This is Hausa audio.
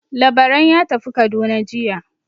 Labaran ya tafi Kaduna jiya.